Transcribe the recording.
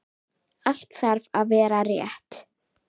Allt þarf að vera rétt.